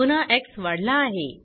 पुन्हा एक्स वाढला आहे